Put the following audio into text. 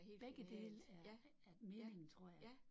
Begge dele er er meningen tror jeg